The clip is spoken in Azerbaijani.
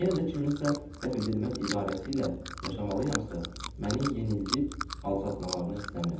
Yenə də kiminsə dəf edilməz idarəsi ilə yaşamalıyamsa, məni yenildi, alçatmalarını istəmirəm.